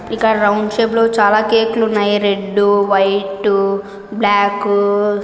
ఇక్కడ round shape లో చాలా కేక్ లు ఉన్నాయి. Red white black --